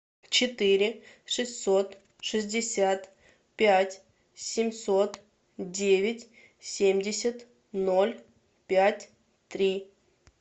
четыре шестьсот шестьдесят пять семьсот девять семьдесят ноль пять три